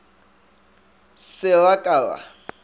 re se ra ka ra